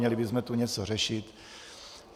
Měli bychom tu něco řešit.